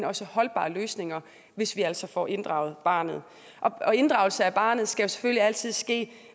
også holdbare løsninger hvis vi også får inddraget barnet inddragelse af barnet skal selvfølgelig altid ske